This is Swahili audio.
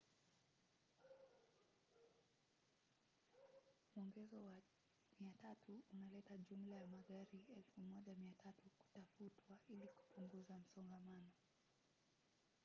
mwongezo wa 300 unaleta jumla ya magari 1,300 kutafutwa ili kupunguza msongamano